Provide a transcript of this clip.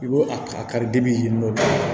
I b'o a kari yen nɔ